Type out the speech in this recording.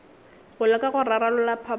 go leka go rarolla phapano